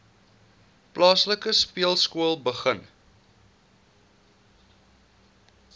plaaslike speelskool begin